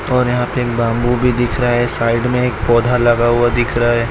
और यहां पे एक बम्बू भी दिख रहा है साइड में एक पौधा लगा हुआ दिख रहा है।